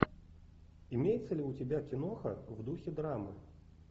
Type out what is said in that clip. имеется ли у тебя киноха в духе драмы